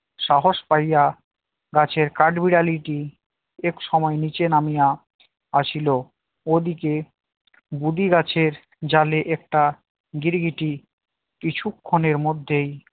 সাহস পাইয়া গাছের কাঠবিড়ালিটি একসময় নিচে নামিয়া আসিল ওদিকে বুড়ি গাছের ডালে একটা গিরগিটি কিছুক্ষণের মধ্যেই